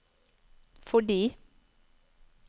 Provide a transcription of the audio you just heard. fordi